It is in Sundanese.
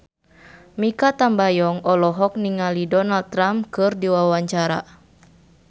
Mikha Tambayong olohok ningali Donald Trump keur diwawancara